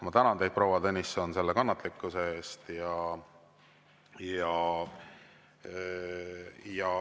Ma tänan teid, proua Tõnisson, selle kannatlikkuse eest.